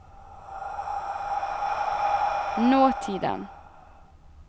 nåtiden